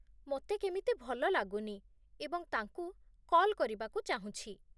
ମୋତେ କେମିତି ଭଲ ଲାଗୁନି ଏବଂ ତାଙ୍କୁ କଲ୍ କରିବାକୁ ଚାହୁଁଛି।